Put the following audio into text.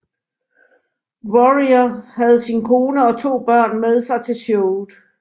Warrior havde sin kone og to børn med sig til showet